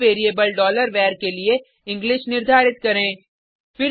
अब variable var के लिए इंग्लिश निर्धारित करें